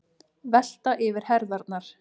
Velta yfir herðarnar.